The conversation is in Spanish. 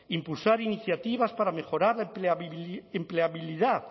impulsar iniciativas para mejorar la empleabilidad